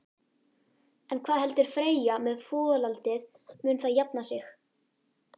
En hvað heldur Freyja með folaldið, mun það jafna sig?